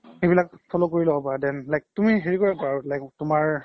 সেইবিলাক follow কৰি ল্'ব পাৰা then তুমি হেৰি কৰিব পাৰা তুমাৰ